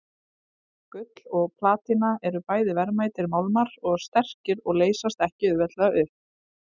Gull og platína eru bæði verðmætir málmar og sterkir og leysast ekki auðveldlega upp.